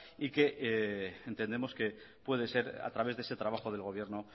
y que entendemos que puede ser a través de ese trabajo del gobierno